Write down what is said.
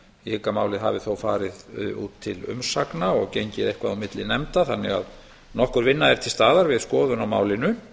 hygg að málið hafi þó farið út til umsagna og gengið eitthvað á milli nefnda þannig að nokkur vinna er til staðar við skoðun á málinu